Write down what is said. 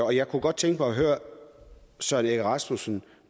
og jeg kunne godt tænke mig at høre søren egge rasmussen